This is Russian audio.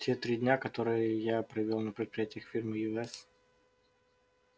те три дня которые я провёл на предприятиях фирмы ю с